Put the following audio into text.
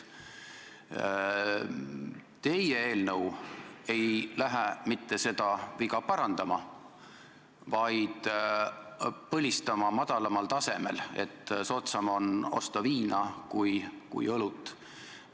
Teie eelnõu ei püüa mitte seda viga parandada, vaid põlistada madalamal tasemel, et soodsam on osta viina kui õlut.